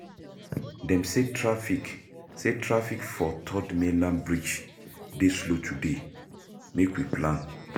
Dem say traffic for Third Mainland Bridge dey slow today, make we plan.